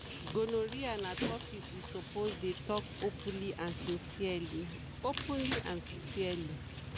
gonorrhea na topic we suppose dey talk openly and sincerely. openly and sincerely.